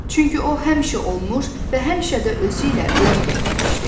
Çünki o həmişə olmuş və həmişə də özü ilə ölüm gətirmişdi.